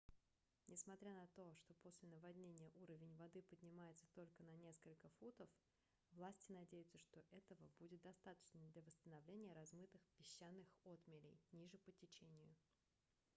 несмотря на то что после наводнения уровень воды поднимется только на несколько футов власти надеются что этого будет достаточно для восстановления размытых песчаных отмелей ниже по течению